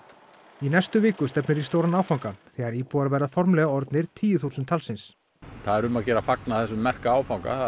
í næstu viku stefnir í stóran áfanga þegar íbúar verða formlega orðnir tíu þúsund talsins það er um að gera að fagna þessum merka áfanga